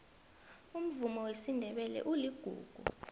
umvumo wesindebele uligugu